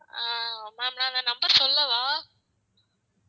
ஆஹ் ma'am நான் அந்த number சொல்லவா?